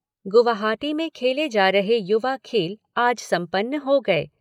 गुवाहाटी में खेले जा रहे युवा खेल आज संपन्न हो गए।